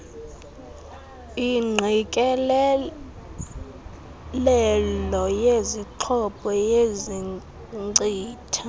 ingqikelelelo yezixhobo yenkcitha